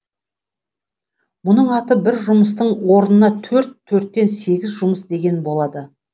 мұның аты бір жұмыстың орнына төрт төрттен сегіз жұмыс деген болады